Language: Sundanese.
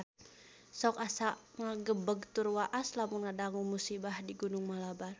Sok asa ngagebeg tur waas lamun ngadangu musibah di Gunung Malabar